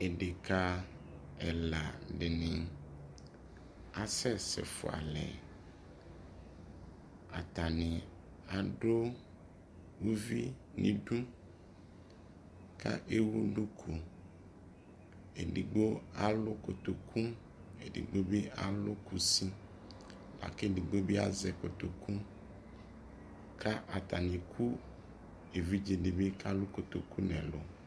edeka ɛla dene asɛ sɛ foalɛ atane ado uvi ne idu kewu duku edigbo alo kotoku ko edigbo bi alo kusi lako edigbo bi azɛ kotoku ko atane eku evidze de bi ko alo kotoku nɛlo